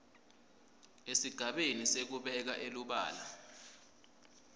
esigabeni sekubeka elubala